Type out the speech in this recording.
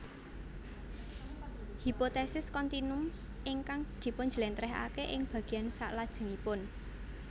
Hipotesis kontinum ingkang dipunjlentrehake ing bagian saklajengipun